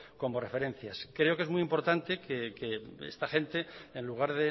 como referencias creo que es muy importante que esta gente en lugar